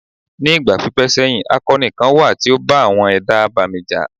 Ní ìgbà pípẹ́ sẹ́yìn, akọni kan wà tí ó bá àwọn ẹ̀dá abàmì jà.